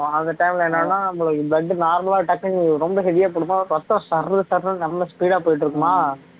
அந்த time ல என்னன்னா உங்களுக்கு blood normal ஆ டக்குன்னு ரொம்ப heavy யா கொடுக்கும் ரத்தம் சர்ரு சர்ருன்னு ரொம்ப speed ஆ போயிட்டு இருக்குமா